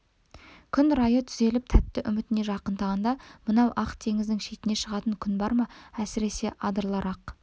күн райы түзеліп тәтті үмітіне жақындағанда мынау ақ теңіздің шетіне шығатын күн бар ма әсіресе адырлар-ақ